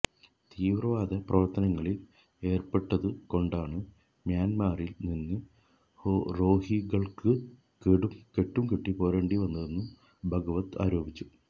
തീവ്രവാദ പ്രവര്ത്തനങ്ങളില് ഏര്പ്പെട്ടതു കൊണ്ടാണ് മ്യാന്മറില് നിന്ന് റോഹിങ്ക്യകള്ക്ക് കെട്ടുംകെട്ടി പോരേണ്ടി വന്നതെന്നും ഭഗാവത് ആരോപിച്ചു